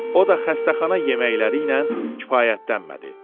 O da xəstəxana yeməkləri ilə kifayətlənmədi.